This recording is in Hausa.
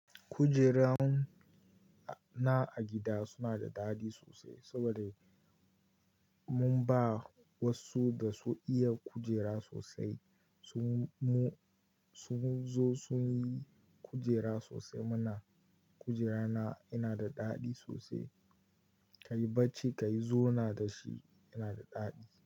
Kujeran na a gida suna da daɗi sosai saboda mun ba wasu da sun iya kujera sosai. Sun zo sun yi kujera sosai. Muna kujera na yana da daɗi sosai. Ka yi bacci, ka yi zona da shi, yana da daɗi.